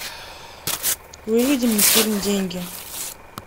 выведи мне фильм деньги